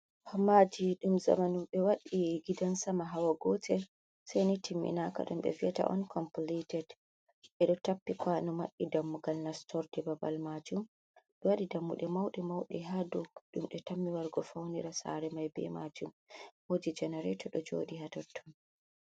Hammadi dum zamanun. Be waɗi gidan sama hawa gotel. Sai ni timminaka ɗum be viyata on compilated. Be do tappi kanu mabbi dammugal nastord babal majum. Be wadi dammude maude maude ha dum de tammi wargo faunira sare mai be majum. Wodi jenarato do jodi ha totton.